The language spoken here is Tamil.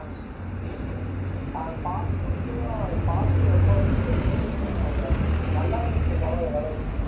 அஹ் part two க்கு தான் part two எப்போ வரும்னு தெரியல விவேக் ஆனா அது நல்லா இருந்துச்சு படம் ஓரளவுக்கு